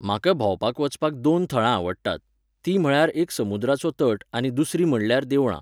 म्हाका भोंवपाक वचपाक दोन थळां आवडटात, तीं म्हळ्यार एक समुद्राचो तट आनी दुसरीं म्हणल्यार देवळां